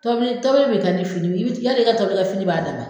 Tɔbili tɔbili bi kɛ ni finiw y i bi ti y'a dɔ i ka tɔbilikɛ fini b'a dan na?